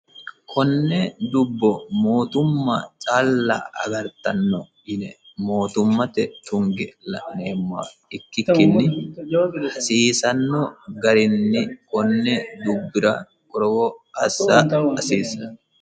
Konne dubbo mootimmate calla agartano yine mootimmate tunge la'neemoha ikikinni hasiisano garinni konni dubira qorowo assa hasiisano.